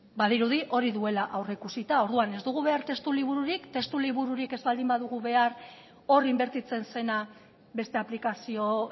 badirudi hori duela aurreikusita orduan ez dugu behar testu libururik testu libururik ez baldin badugu behar hor inbertitzen zena beste aplikazio